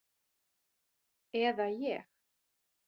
Eða ég.